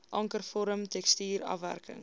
ankervorm tekstuur afwerking